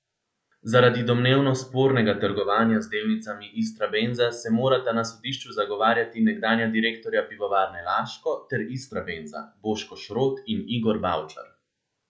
Zaradi domnevno spornega trgovanja z delnicami Istrabenza se morata na sodišču zagovarjati nekdanja direktorja Pivovarne Laško ter Istrabenza, Boško Šrot in Igor Bavčar.